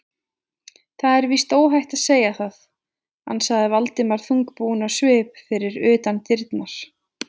Það er víst óhætt að segja það- ansaði Valdimar þungbúinn á svip fyrir utan dyrnar.